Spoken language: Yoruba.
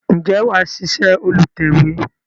Ǹjẹ́ wà ṣíṣe olùtẹ̀we?